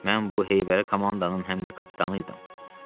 Mən bu heyvərə komandanın həm də kapitanı idim.